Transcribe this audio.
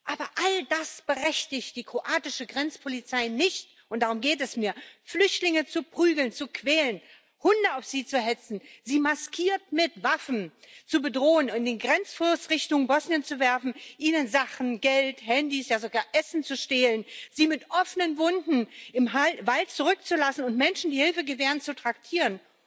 Aber all das berechtigt die kroatische Grenzpolizei nicht und darum geht es mir Flüchtlinge zu prügeln, zu quälen, Hunde auf sie zu hetzen, sie maskiert mit Waffen zu bedrohen, in den Grenzfluss Richtung Bosnien zu werfen, ihnen Sachen Geld, Handys, ja sogar Essen zu stehlen, sie mit offenen Wunden im Wald zurückzulassen und Menschen, die Hilfe gewähren, zu traktieren.